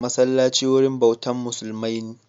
Masallaci wurin bautan musulmai